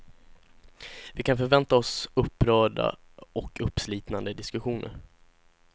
Vi kan förvänta oss upprörda och uppslitande diskussioner.